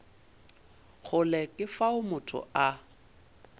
kgole ke fao motho a